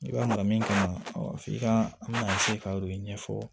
I ka na min kan f'i ka na ka o de ɲɛfɔ